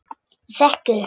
Ég þekki þau.